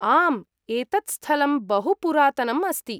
आम्, एतत् स्थलं बहु पुरातनम् अस्ति।